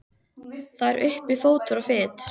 Það er uppi fótur og fit.